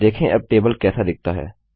देखें अब टेबल कैसा दिखता है